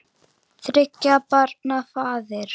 Þriggja barna faðir.